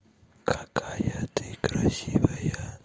какая ты красивая